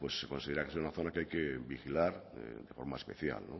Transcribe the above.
pues se considera que es una zona que hay que vigilar de forma especial